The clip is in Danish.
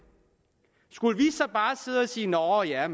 skulle vi så bare sidde og sige nå ja